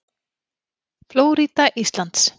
Flórída Íslands.